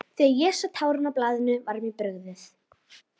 Þegar ég sá táknin á blaðinu var mér brugðið.